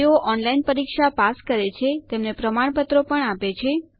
જેઓ ઓનલાઇન પરીક્ષા પાસ કરે છે તેમને પ્રમાણપત્રો આપે છે